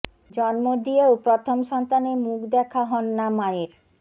জন্ম দিয়েও প্রথম সন্তানের মুখ দেখা হন না মায়ের